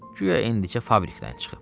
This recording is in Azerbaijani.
Guya indicə fabrikdən çıxıb.